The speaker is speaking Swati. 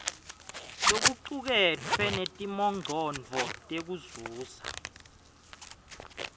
lokucuketfwe netimongcondvo tekuzuza